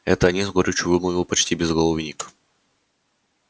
это они с горечью вымолвил почти безголовый ник